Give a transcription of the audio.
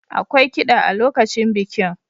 Akwai kida a lokacin bikin.